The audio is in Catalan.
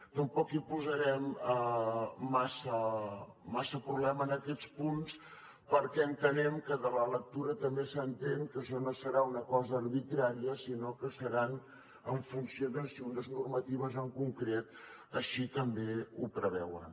tampoc hi posarem massa problema en aquests punts perquè entenem que de la lectura també s’entén que això no serà una cosa arbitrària sinó que serà en funció de si unes normatives en concret així també ho preveuen